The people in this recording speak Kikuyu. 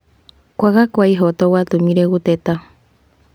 Kwaga kwa ihooto gwatũmĩre gũteta.